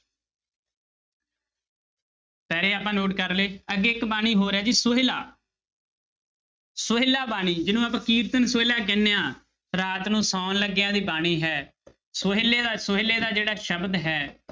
ਪਹਿਰੇ ਆਪਾਂ note ਕਰ ਲਏ ਅੱਗੇ ਇੱਕ ਬਾਣੀ ਹੋਰ ਹੈ ਜੀ ਸੋਹਿਲਾ ਸੋਹਿਲਾ ਬਾਣੀ ਜਿਹਨੂੰ ਆਪਾਂ ਕੀਰਤਨ ਸੋਹਿਲਾ ਕਹਿੰਦੇ ਹਾਂ ਰਾਤ ਨੂੰ ਸੌਣ ਲੱਗਿਆ ਦੀ ਬਾਣੀ ਹੈ ਸੋਹਿਲੇ ਦਾ ਸੋਹਿਲੇ ਦਾ ਜਿਹੜਾ ਸ਼ਬਦ ਹੈ,